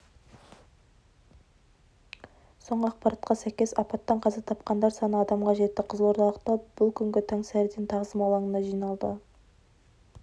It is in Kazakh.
соңғы ақпаратқа сәйкес апаттан қаза тапқандар саны адамға жетті қызылордалықтар бұл күні таңсәріден тағзым алаңына жиналды